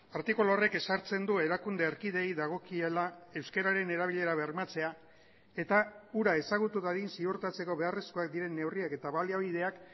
artikulu horrek ezartzen du erakunde erkideei dagokiela euskararen erabilera bermatzea eta hura ezagutu dadin ziurtatzeko beharrezkoak diren neurriak eta baliabideak